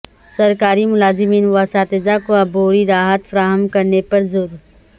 سرکاری ملازمین و اساتذہ کو عبوری راحت فراہم کرنے پر زور